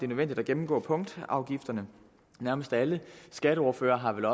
nødvendigt at gennemgå punktafgifterne nærmest alle skatteordførerne har vel